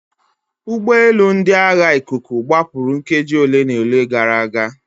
Ụgbọelu ndị agha ikuku gbapụrụ nkeji ole na ole gara aga.